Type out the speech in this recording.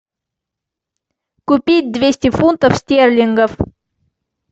купить двести фунтов стерлингов